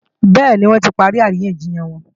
Bẹ́ẹ̀ni, wọ́n ti parí àríyànjiyàn wọn